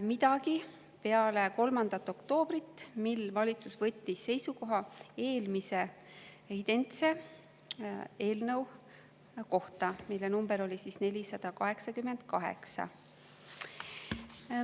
midagi peale 3. oktoobrit, mil valitsus võttis seisukoha eelmise identse eelnõu kohta, mille number oli 488.